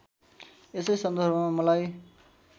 यसै सन्दर्भमा मलाई